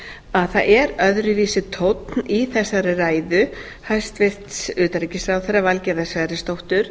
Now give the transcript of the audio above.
að það er öðruvísi tónn í þessari ræðu hæstvirts utanríkisráðherra valgerðar sverrisdóttur